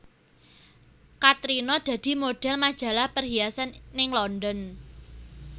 Katrina dadi modhel majalah perhiasan ning London